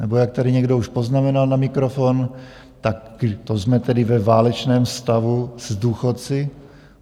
Nebo jak tady někdo už poznamenal na mikrofon, tak to jsme tedy ve válečném stavu s důchodci?